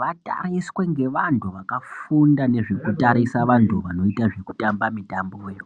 vatariswe ngevantu vakafunda nezvekutarisa vantu vanoita zvekutamba mitamboyo.